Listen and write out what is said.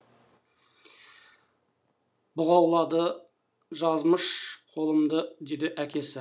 бұғаулады жазмыш қолымды деді әкесі